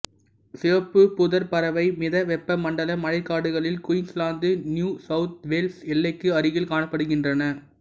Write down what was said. சிவப்பு புதர்பறவை மிதவெப்ப மண்டல மழைக்காடுகளில் குயின்ஸ்லாந்து நியூ சவுத் வேல்ஸ் எல்லைக்கு அருகில் காணப்படுகின்றன